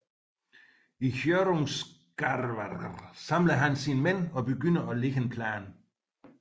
I Hjörungavágr samler han sine mænd og begynder at lægge en plan